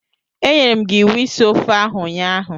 Enyere m gi iwu isi ofe oha ụnyaahụ.